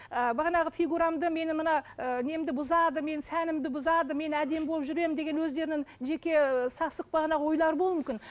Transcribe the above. ыыы бағанағы фигурамды менің мына ыыы немді бұзады менің сәнімді бұзады мен әдемі болып жүремін деген өздерінің жеке ыыы сасық бағанағы ойлары болу мүмкін